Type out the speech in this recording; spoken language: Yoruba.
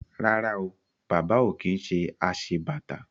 Rárá o, Bàbá ò kí ń ṣe aṣebàtà